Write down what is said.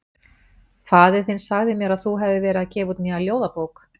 Faðir þinn sagði mér að þú hefðir verið að gefa út nýja ljóðabók.